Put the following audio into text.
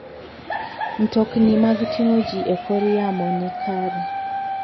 Mtokni mag ting'o ji e kor yamo ni kare.